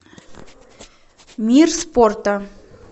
мир спорта